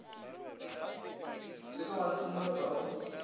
se ke wa ntlhanogela o